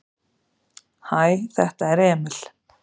"""Hæ, þetta er Emil."""